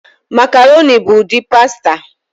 Makaroni bụ ụdị pasta